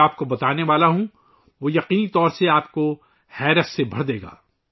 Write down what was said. جو میں آپ کو بتانے جا رہا ہوں وہ یقیناً آپ کو حیرت سے بھر دے گا